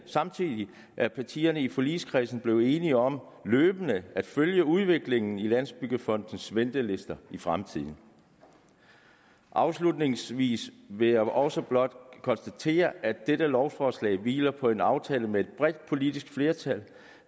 samtidig er partierne i forligskredsen blevet enige om løbende at følge udviklingen i landsbyggefondens ventelister i fremtiden afslutningsvis vil jeg også blot konstatere at dette lovforslag hviler på en aftale med et bredt politisk flertal